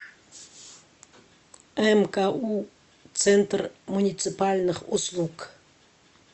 мку центр муниципальных услуг